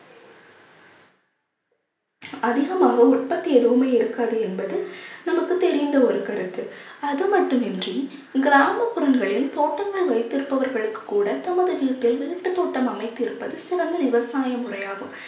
அதிகமாக உற்பத்தி எதுவுமே இருக்காது என்பது நமக்கு தெரிந்த ஒரு கருத்து அதுமட்டுமின்றி கிராமப்புறங்களில் தோட்டங்கள் வைத்திருப்பவர்களுக்கு கூட தமது வீட்டில் வீட்டுத் தோட்டம் அமைத்திருப்பது சிறந்த விவசாய முறையாகும்